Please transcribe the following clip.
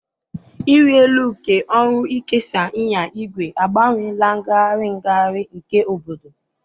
ịrị elu nke ọrụ ịkesa ịnya igwe agbanweela ngagharị ngagharị nke obodo.